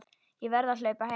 Ég verð að hlaupa heim.